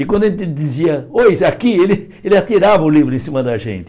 E quando a gente dizia, oi, aqui, ele ele atirava o livro em cima da gente.